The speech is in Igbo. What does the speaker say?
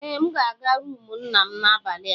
Ee, M ga-aga rumụ nna m n'abalị a.